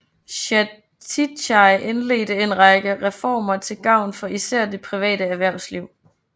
Chatichai indledte en række reformer til gavn for især det private erhvervsliv